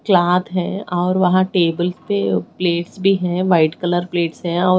Cloth है और वहां टेबल पे प्लेट्स भी है। व्हाईट कलर प्लेट्स है और --